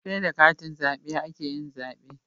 Seda katin zabe ake yin zabe